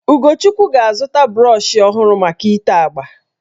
Ugochukwu ga-azụta brọshị ọhụrụ maka itè agbà